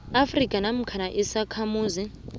afrika namkha isakhamuzi